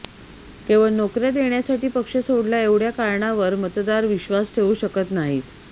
केवळ नोकऱया देण्यासाठी पक्ष सोडला एवढय़ा कारणावर मतदार विश्वास ठेवू शकत नाहीत